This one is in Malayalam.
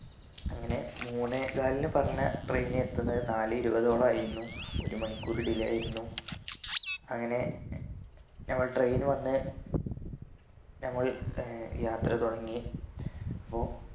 അങ്ങനെ മൂന്നേകാലിന് പറഞ്ഞ train എത്തുന്നത് നാലെയിരുപതോളം ആയിരുന്നു ഒരു മണിക്കൂർ delay ആയിരുന്നു അങ്ങനെ നമ്മൾ train വന്ന് നമ്മൾ ഏർ യാത്ര തുടങ്ങി അപ്പോ